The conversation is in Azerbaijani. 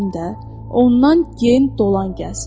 Dedim də, ondan gen dolan, gəz.